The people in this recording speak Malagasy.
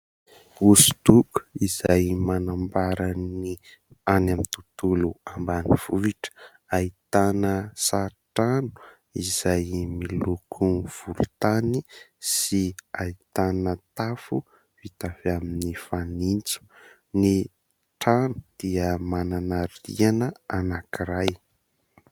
Hosodoko izay manambara ny any amin'ny tontolo ambanivohitra : ahitana sary trano izay miloko volontany sy ahitana tafo vita avy amin'ny fanitso, ny trano dia manana rihana anankiray.